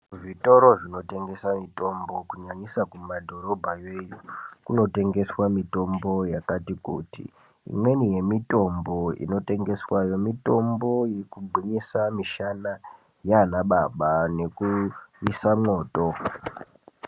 Zvitoro zvinotengesa mitombo kunyanyisa kumadhorobha. Kunotengeswa mitombo yakati kuti. Imweni yemitombo inotengeswa, mitombo yekugwinyisa mishana yanababa nekuyisa moto.